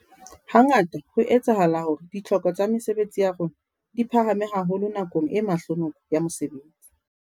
Hangata ho a etsahala hore ditlhoko tsa mesebetsi ya rona di phahame haholo nakong e mahlonoko ya mosebetsi.